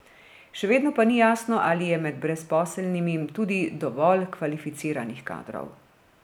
Še vedno pa ni jasno, ali je med brezposelnimi tudi dovolj kvalificiranih kadrov.